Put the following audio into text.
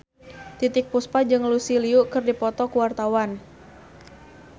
Titiek Puspa jeung Lucy Liu keur dipoto ku wartawan